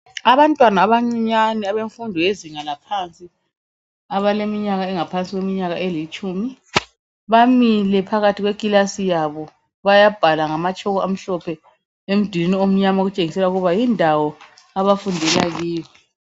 Abantwana abancinyane abezinga laphansi abaleminyaka engaphansi kwelitshumi bamile phakathi kwekilasi yabo bayabhala ngamachoko amhlophe edulwini omnyama okuntshengisela ukuthi yindawo abafundela kiyo